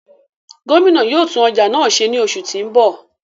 Gomina yóò tun ọja náa ṣe ni oṣu ti n bọ.